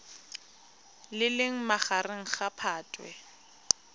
le leng magareng ga phatwe